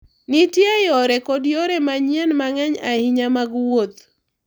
Nitie yore kod yore manyien mang’eny ahinya mag wuoth ​​.